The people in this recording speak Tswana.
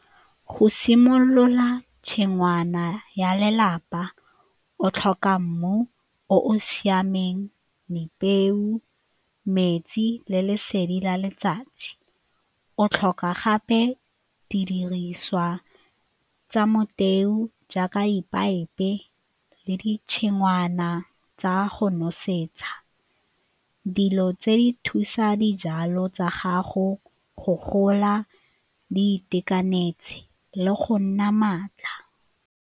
Go simolola tshingwana ya lelapa o tlhoka mmu o o siameng, peo, metsi le lesedi la letsatsi o tlhoka gape didiriswa tsa motheo jaaka le ditshingwana tsa go nosetsa. Dilo tse di thusa dijalo tsa gago go gola di itekanetse le go nna maatla.